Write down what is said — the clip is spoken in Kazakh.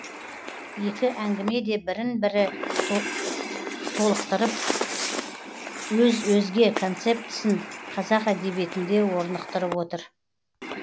екі әңгіме де бірін бірі толықтырып өз өзге концептісін қазақ әдебиетінде орнықтырып отыр